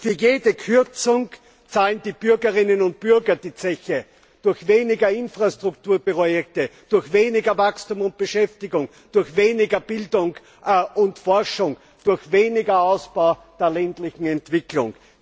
Für jede Kürzung zahlen die Bürgerinnen und Bürger die Zeche, durch weniger Infrastrukturprojekte, durch weniger Wachstum und Beschäftigung, durch weniger Bildung und Forschung, durch weniger Ausbau der ländlichen Entwicklung.